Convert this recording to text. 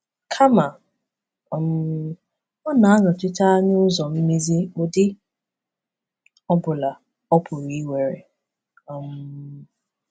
Kama, um ọ na-anọchite anya ụzọ mmezi, ụdị ọ bụla ọ pụrụ iwere. um